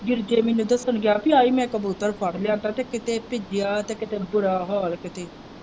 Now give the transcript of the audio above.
ਮੈਨੂੰ ਦਸਨ ਗਿਆ ਪੀ ਆਈ ਮੈਂ ਕਬੂਤਰ ਲਿਆਂਦਾ ਤੇ ਕਿਤੇ ਭਿੱਜਿਆ ਤੇ ਕਿਤੇ ਬੁਰਾ ਹਾਲ ਕਿਤੇ।